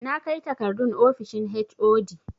Na kai takardun ofishin HOD